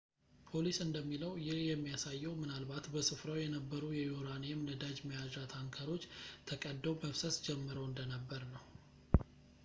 ፖሊስ እንደሚለው ይህ የሚያሳየው ምናልባት በሥፍራው የነበሩ የዩራኒየም ነዳጅ መያዣ ታንከሮች ተቀደው መፍሰስ ጀምረው እንደነበርነው